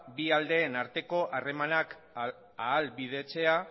bi aldeen arteko harremanak ahalbidetzea